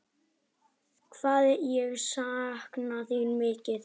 Hvað ég sakna þín mikið.